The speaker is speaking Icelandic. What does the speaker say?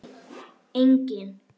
Nei, enginn